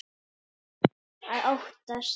Að óttast!